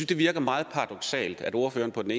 det virker meget paradoksalt at ordføreren